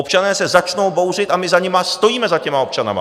Občané se začnou bouřit a my za nimi stojíme, za těmi občany.